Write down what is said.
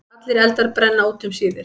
Allir eldar brenna út um síðir.